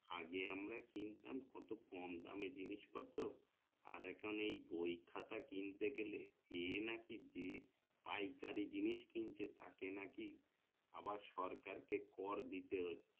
আগে আমরা কিনতাম কত কম দামে জিনিসপত্র আর এখন এই বই খাতা কিনতে গেলে এ নাকি যে পাইকারি জিনিস কিনছে তাকে নাকি আবার সরকার কে কর দিতে হচ্ছে